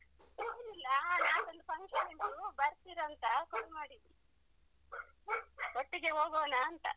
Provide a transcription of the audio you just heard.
ಏನಿಲ್ಲಾ ನಾಳೆ ಒಂದು function ಉಂಟು ಬರ್ತಿರಾಂತ call ಮಾಡಿದ್ದು, ಒಟ್ಟಿಗೆ ಹೋಗೋಣ ಅಂತ.